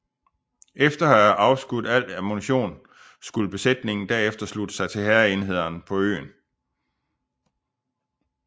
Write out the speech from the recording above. Efter at have afskudt al ammunition skulle besætningen herefter slutte sig til hærenhederne på øen